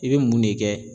I bɛ mun de kɛ